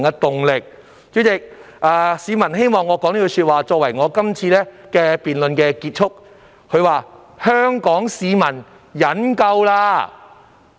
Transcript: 代理主席，有市民希望以一句話作為我這次發言的總結："香港市民忍夠了！